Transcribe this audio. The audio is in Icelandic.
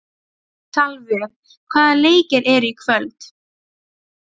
Salvör, hvaða leikir eru í kvöld?